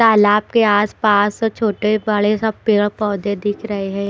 तालाब के आसपास छोटे बड़े सब पेड़ पौधे दिख रहे हैं।